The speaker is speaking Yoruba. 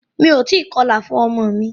Mí o tí kọlà fún ọmọ mi.